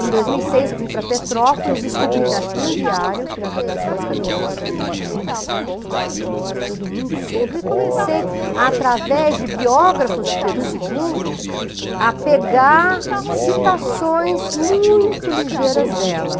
Em dois mil e seis, eu fui para Petrópolis e descobri que ela tinha um diário, que na verdade são umas cadernetas de anotações, tudo muito simples, e comecei, através de biógrafos de Pedro segundo, a pegar citações muito ligeiras dela.